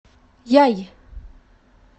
яй